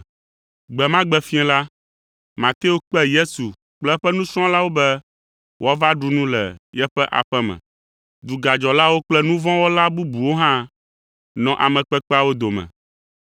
Gbe ma gbe fiẽ la, Mateo kpe Yesu kple eƒe nusrɔ̃lawo be woava ɖu nu le yeƒe aƒe me. Dugadzɔlawo kple nu vɔ̃ wɔla bubuwo hã nɔ ame kpekpeawo dome.